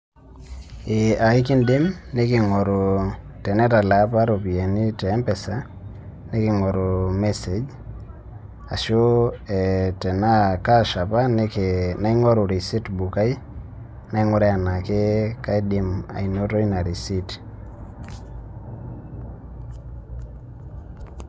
Eeh aikiindim niking'oru tenetalaa apa iropiyiani te M-Pesa niking'oru message ashu ee tenaa cash apa naing'oru receipt book ai naing'uraa enaa kaidim anoto ina receipt.